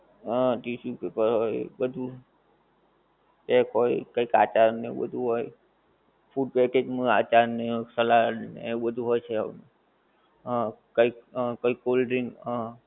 હા tissue paper હોએ એ બધું tap હોએ ને કાતર એ બધું હોએ food packaging ને આચાર ને salad ને બધું હોએ છે આમ આ કંઈક cold drink હા